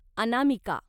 अनामिका